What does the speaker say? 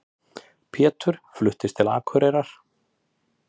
Pétur fluttist til Akureyrar.